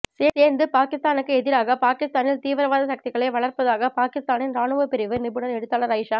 சேர்ந்து பாகிஸ்தானுக்கு எதிராக பாகிஸ்தானில் தீவிரவாத சக்திகளை வளர்ப்பதாக பாகிஸ்தானின் இராணுவப்பிரிவு நிபுணர் எழுத்தாளர் ஆயிஷா